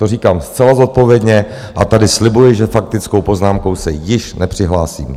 To říkám zcela zodpovědně a tady slibuji, že faktickou poznámkou se již nepřihlásím.